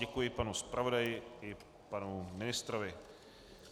Děkuji panu zpravodaji i panu ministrovi.